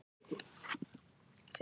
Er það ekki bara eitthvað kjaftæði?